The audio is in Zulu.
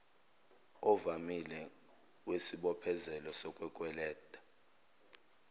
ovamile wesibophezelo sokukweleta